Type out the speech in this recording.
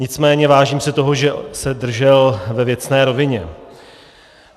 Nicméně vážím si toho, že se držel ve věcné rovině.